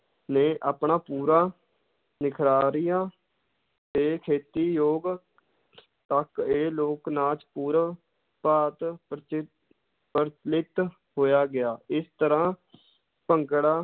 ਨੇ ਆਪਣਾ ਪੂਰਾ ਨਿਖਾਰਿਆ ਤੇ ਖੇਤੀ ਯੋਗ ਤੱਕ ਇਹ ਲੋਕ ਨਾਚ ਪੂਰਨ ਭਾਂਤ ਪ੍ਰਚ~ ਪ੍ਰਚਲਿਤ ਹੋਇਆ ਗਿਆ, ਇਸ ਤਰ੍ਹਾਂ ਭੰਗੜਾ